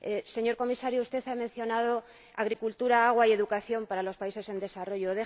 Señor Comisario, usted ha mencionado agricultura, agua y educación para los países en desarrollo.